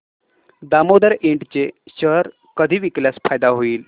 Damodar Ind चे share कधी विकल्यास फायदा होईल